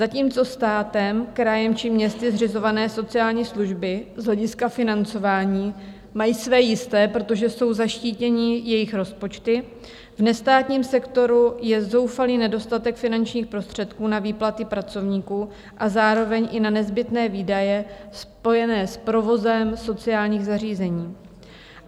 Zatímco státem, krajem či městy zřizované sociální služby z hlediska financování mají své jisté, protože jsou zaštítěny jejich rozpočty, v nestátním sektoru je zoufalý nedostatek finančních prostředků na výplaty pracovníků a zároveň i na nezbytné výdaje spojené s provozem sociálních zařízení.